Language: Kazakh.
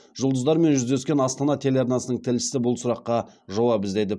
жұлдыздармен жүздескен астана телеарнасының тілшісі бұл сұраққа жауап іздеді